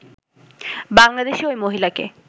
বাংলাদেশী ওই মহিলাকে